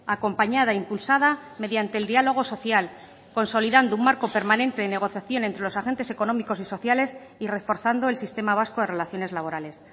acompañada impulsada mediante el diálogo social consolidando un marco permanente de negociación entre los agentes económicos y sociales y reforzando el sistema vasco de relaciones laborales